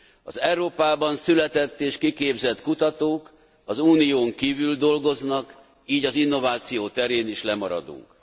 Az Európában született és kiképzett kutatók az Unión kívül dolgoznak, így az innováció terén is lemaradunk.